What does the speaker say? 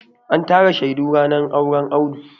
An tara shaidu ranar auren Audu.